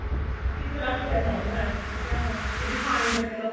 ਉਹ ਕਿੱਥੇ ਦਾ ਕਿੱਥੇ ਪਹੁੰਚਿਆ ਹੋਇਆ refined ਲੈਲੋ